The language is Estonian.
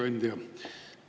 Hea ettekandja!